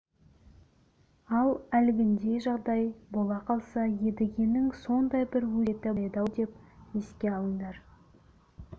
ал әлгіндей жағдай бола қалса едігенің сондай бір өсиеті бар еді-ау деп еске алыңдар